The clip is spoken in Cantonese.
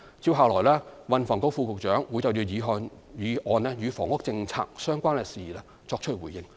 接下來，運輸及房屋局副局長會就議案中與房屋政策相關的事宜作出回應。